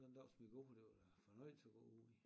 Sådan en dag som i går det var da fornøjelse at gå ude i